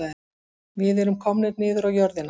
Við erum komnir niður á jörðina